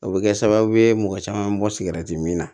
O bɛ kɛ sababu ye mɔgɔ caman bɛ bɔ min na